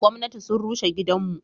Gomnati sun rushe gidan mu.